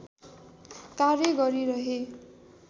कार्य गरिरहे